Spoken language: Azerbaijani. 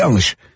Çox yanlış.